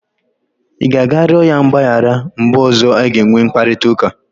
Ị ga-arịọ ya mgbaghara mgbe ọzọ a ga-enwe mkparịta ụka?